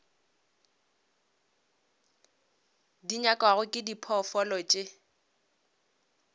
di nyakwago ke diphoofolo tše